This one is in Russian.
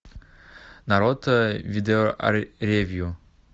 народ видеоревью